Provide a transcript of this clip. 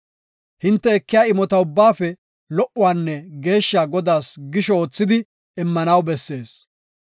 Hinte ekiya imota ubbaafe lo77uwanne geeshsha Godaas gisho oothidi immanaw bessees.